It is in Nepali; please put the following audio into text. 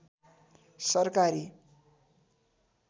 सरकारी